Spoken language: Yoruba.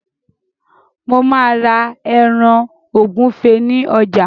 Mo má́a ra ẹran ògúfe ní ọjà.